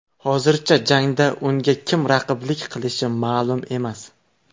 Hozircha jangda unga kim raqiblik qilishi ma’lum emas.